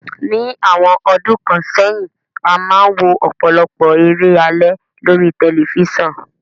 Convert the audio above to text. Ní àwon odún kan sẹ́hìn, a máa n wo òpòlopò eré alé lórí telifisan